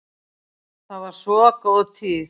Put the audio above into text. Það var svo góð tíð.